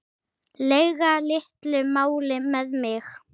lega litlu máli með mig.